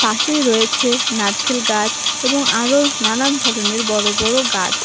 পাশেই রয়েছে নারকেল গাছ এবং আরও নানান ধরনের বড় বড় গাছ।